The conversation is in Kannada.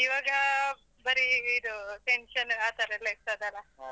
ಇವಾಗ ಬರಿ ಇದು tension ಆತರ ಎಲ್ಲ ಇರ್ತದಲ್ಲ.